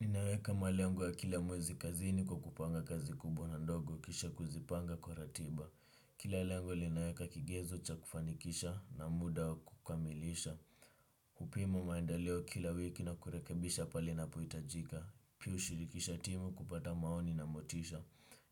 Ninaweka malengo ya kila mwezi kazini kwa kupanga kazi kubwa na ndogo kisha kuzipanga kwa ratiba. Kila lengo linaweka kigezo cha kufanikisha na muda wa kukamilisha. Kupima maendeleo kila wiki na kurekebisha pale inapohitajika. Pia hushirikisha timu kupata maoni na motisha.